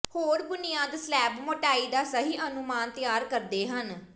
ਹੋਰ ਬੁਨਿਆਦ ਸਲੈਬ ਮੋਟਾਈ ਦਾ ਸਹੀ ਅਨੁਮਾਨ ਤਿਆਰ ਕਰਦੇ ਹਨ